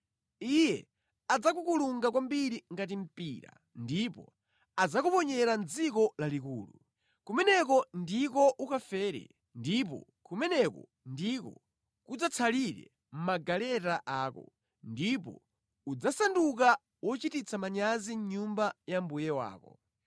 Iye adzakukulunga kwambiri ngati mpira ndipo adzakuponyera mʼdziko lalikulu. Kumeneko ndiko ukafere ndipo kumeneko ndiko kudzatsalire magaleta ako. Ndipo udzasanduka wochititsa manyazi nyumba ya mbuye wako.